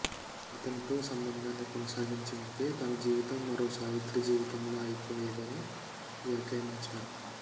అతనితో సంబంధాన్ని కొనసాగించి ఉంటే తన జీవితం మరో సావిత్రి జీవితంలా అయిపోయేదని వ్యాఖ్యానించారు